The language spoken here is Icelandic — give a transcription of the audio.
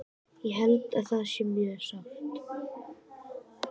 Ég held að það sé mjög sárt.